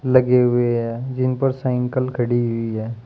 लगे हुए हैं जिन पर साइंकल खड़ी हुई है।